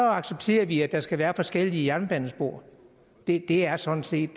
accepterer vi at der skal være forskellige jernbanespor det er sådan set